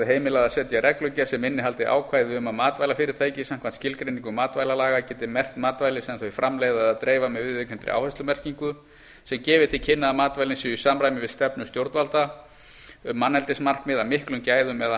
heimilað að setja reglugerð sem innihaldi ákvæði um að matvælafyrirtæki samkvæmt skilgreiningu matvælalaga geti merkt matvæli sem þau framleiða eða dreifa með viðurkenndri áherslumerkingu sem gefi til kynna að matvælin séu í samræmi við stefnu stjórnvalda um manneldismarkmið af miklum gæðum eða